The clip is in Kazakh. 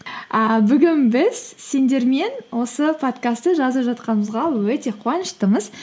ыыы бүгін біз сендермен осы подкастты жазып жатқанымызға өте қуаныштымыз